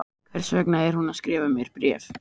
Hvers vegna er hún að skrifa mér bréf?